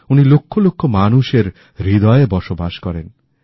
উনি লক্ষ লক্ষ মানুষেরহৃদয়ে বসবাস করেন